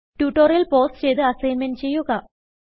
tutorial pause ചെയ്ത് assignment ചെയ്യുക